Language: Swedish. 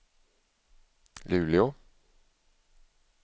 Luleå